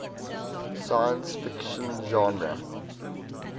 science fiction genre